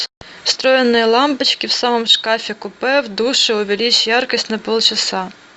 встроенные лампочки в самом шкафе купе в душе увеличь яркость на полчаса